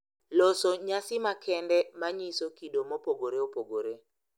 Loso nyasi makende ma nyiso kido mopogore opogore.